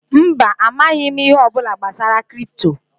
Mba, amaghị m ihe ọbụla gbasara kripto